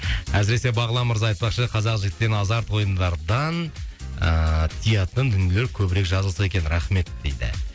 әсіресе бағлан мырза айтпақшы қазақ жігіттерін азарт ойындардан ыыы тиятын дүниелер көбірек жазылса екен рахмет дейді